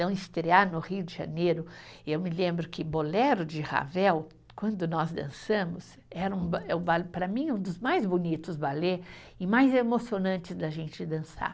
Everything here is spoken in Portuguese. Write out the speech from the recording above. Então, estrear no Rio de Janeiro, eu me lembro que Bolero de Ravel, quando nós dançamos, era um, para mim, é um dos mais bonitos balé e mais emocionantes da gente dançar.